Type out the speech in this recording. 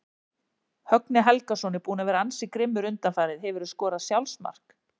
Högni Helgason er búinn að vera ansi grimmur undanfarið Hefurðu skorað sjálfsmark?